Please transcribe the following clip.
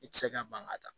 I tɛ se ka ban ka taa